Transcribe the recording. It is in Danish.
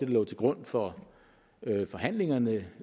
lå til grund for forhandlingerne